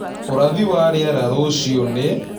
ũrathi wa rĩera rũcĩũ nĩ